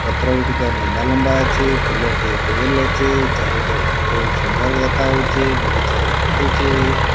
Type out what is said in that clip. ପତ୍ର ଗୁଡ଼ିକ ଲମ୍ବା ଲମ୍ବା ଅଛି ଫୁଲଟି ଗୋଲ୍ ଅଛି ଚାରି ପାଖରେ ବହୁତ୍ ସୁନ୍ଦର୍ ଦେଖାଯାଉଚି ବଗିଚାରେ ଫୁଟିଚି --